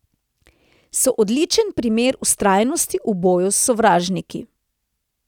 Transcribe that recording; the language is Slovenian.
So odličen primer vztrajnosti v boju s sovražniki.